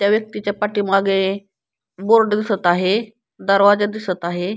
त्या व्यक्तीच्या पाठीमागे बोर्ड दिसत आहे दरवाजा दिसत आहे.